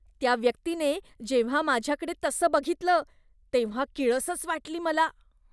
त्या व्यक्तीने जेव्हा माझ्याकडे तसं बघितलं तेव्हा किळसच वाटली मला.